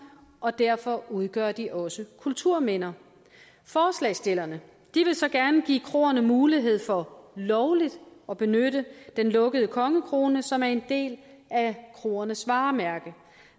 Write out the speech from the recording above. og derfor udgør de også kulturminder forslagsstillerne vil så gerne give kroerne mulighed for lovligt at benytte den lukkede kongekrone som er en del af kroernes varemærke